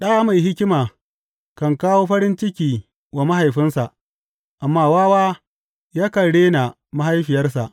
Ɗa mai hikima kan kawo farin ciki wa mahaifinsa, amma wawa yakan rena mahaifiyarsa.